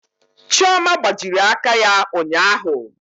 Chioma gbajiri aka ya ụnyaahụ.